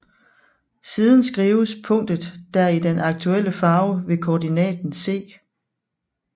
Siden skrives punktet der i den aktuelle farve ved koordinaten c